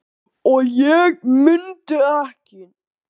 og ég mundi ekki.